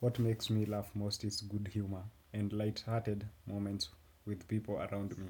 What makes me laugh most is good humor and light-hearted moments with people around me.